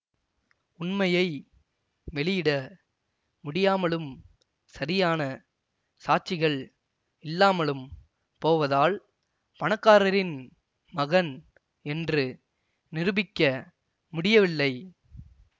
உண்மையை வெளியிட முடியாமலும் சரியான சாட்சிகள் இல்லாமலும் போவதால் பணக்காரரின் மகன் என்று நிருபிக்க முடியவில்லை